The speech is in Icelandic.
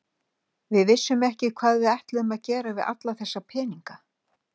Við vissum ekki hvað við ætluðum að gera við alla þessa peninga.